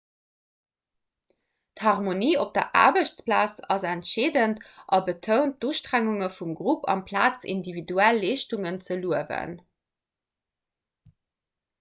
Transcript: d'harmonie op der aarbechtsplaz ass entscheedend a betount d'ustrengunge vum grupp amplaz individuell leeschtungen ze luewen